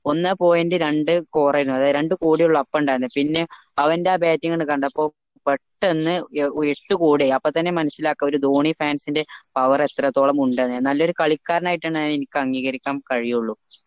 ഒന്ന് point രണ്ട് score ആയിരുന്നു രണ്ട് കോടിയുള്ള up ഇണ്ടായിരുന്നു പിന്നെ അവൻറെ ആ bating അങ്ങ് കണ്ടപ്പോൾ പെട്ടന്ന് ഒച്ച കൂടി അപ്പൊ തന്നെ മനസിലാക്കാം ഒരു ധോണി fans ൻ്റെ power എത്രത്തോളം ഉണ്ടെന്ന് നല്ലയൊരു കളിക്കാരനായിട്ടാണ് എനിക്ക് അംഗീകരിക്കാൻ കഴിയുള്ളു